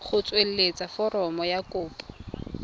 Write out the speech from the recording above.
go tsweletsa foromo ya kopo